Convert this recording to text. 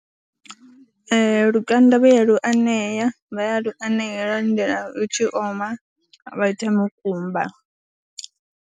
Ee, lukanda vha ya lu anea, vha ya lu anea vha lindela lu tshi oma vha ita mukumba.